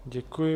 Děkuji.